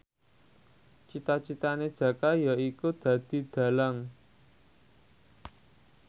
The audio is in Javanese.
cita citane Jaka yaiku dadi dhalang